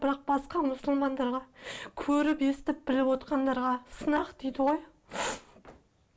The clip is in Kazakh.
бірақ басқа мұсылмандарға көріп естіп біліп отырғандарға сынақ дейді ғой